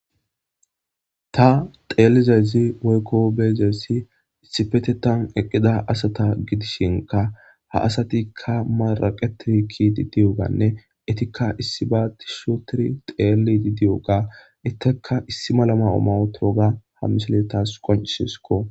Ta xeelizayzi woykko beezessi issipete tan eqqida asata gidishinka ha asatikka maraqe tirikki diddiyoganne etikka issi baa tishotiri xeeli diddiyoga itteka issi malama omawotooga hammisele taas qoncishisko.